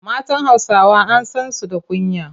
Matan Hausawa an san su da kunya.